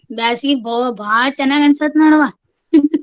ಬ್ಯಾಸ್ಗಿ ಬೋ~ ಬಾಳ್ ಚನಾಗ್ ಅನ್ಸತ್ ನೋಡವಾ .